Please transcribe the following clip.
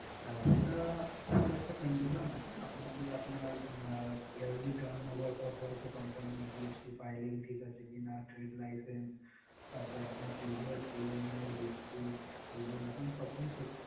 আহ সেটা sir একটা condition আছে। আপনাকে আপনার আহ yearly turn over কত আছে company এর, GST filing ঠিক আছে কিনা, trade license, তারপর আপনার previous loan এর history, civil আপনার সবকিছু check